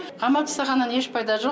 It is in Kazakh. қамап тастағаннан еш пайда жоқ